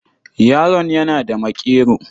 Yaron yana da maƙero.